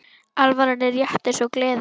Alvaran er létt eins og gleðin.